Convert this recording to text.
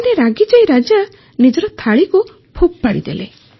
ଦିନେ ରାଗିଯାଇ ରାଜା ନିଜର ଥାଳିକୁ ଫୋପାଡ଼ିଦେଲେ